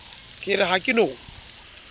ke re ha ke no